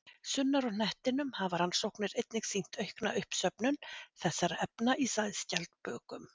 Sunnar á hnettinum hafa rannsóknir einnig sýnt aukna uppsöfnun þessara efna í sæskjaldbökum.